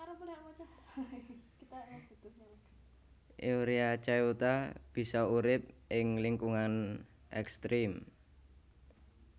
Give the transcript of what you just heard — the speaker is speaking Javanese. Euryarchaeota bisa urip ing lingkungan ekstrem